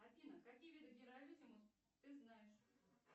афина какие виды генералиссимус ты знаешь